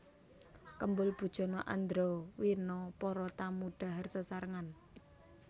Kembul Bujana Andrawina Para tamu dhahar sesarengan